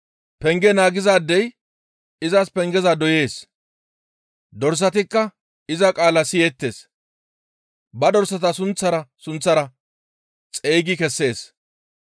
Penge naagizaadey izas pengeza doyees. Dorsatikka iza qaala siyeettes; ba dorsata sunththara sunththara xeygi kessees.